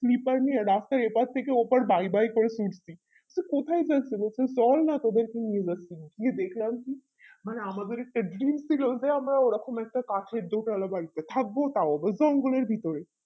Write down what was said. sleeper নিয়ে রাস্তার এই পাস থেকে ওই পাস বাই বাই করে ঘুরছি তো কোথায় যাচ্ছি রে তুই চল না তোদেরকে নিয়ে যাচ্ছি আমি গিয়ে দেখলাম কি মানে আমাদেরকে dream ছিল যে আমরা ওই রকম একটা কাঠের দোতলা বাড়িতে থাকবো তাও দিকে